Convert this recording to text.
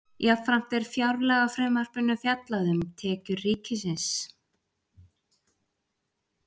Jafnframt er í fjárlagafrumvarpinu fjallað um tekjur ríkisins.